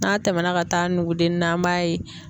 N'a tɛmɛna ka taa nugudennin na an b'a ye